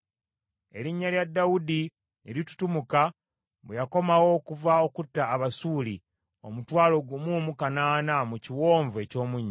Erinnya lya Dawudi ne litutumuka, bwe yakomawo okuva okutta Abasuuli omutwalo gumu mu kanaana mu kiwonvu eky’Omunnyo.